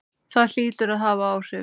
Það hlýtur að hafa áhrif.